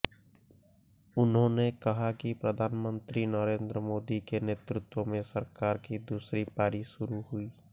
उन्होंने कहा कि प्रधानमंत्री नरेन्द्र मोदी के नेतृत्व में सरकार की दूसरी पारी शुरू हुई